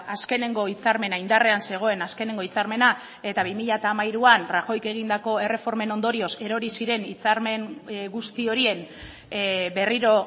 azkeneko hitzarmena indarrean zegoen azkeneko hitzarmena eta bi mila hamairuan rajoyk egindako erreformen ondorioz erori ziren hitzarmen guzti horien berriro